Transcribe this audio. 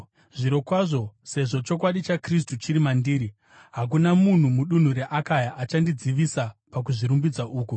Zvirokwazvo sezvo chokwadi chaKristu chiri mandiri, hakuna munhu mudunhu reAkaya achandidzivisa pakuzvirumbidza uku.